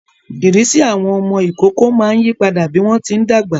Ìrisi awọn ọmọ ïkoko máa ń yipada bi wọn ti ńdagba